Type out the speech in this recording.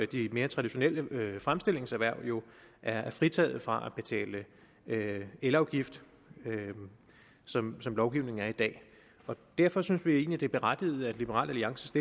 de mere traditionelle fremstillingserhverv der jo er fritaget for at betale elafgift som lovgivningen er i dag derfor synes vi egentlig det er berettiget at liberal alliance